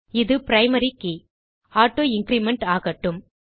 இது primary key160 auto increment ஆகட்டும்